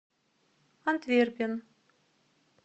антверпен